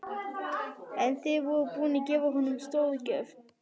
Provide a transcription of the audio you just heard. En þið voruð búin að gefa honum stórgjöf.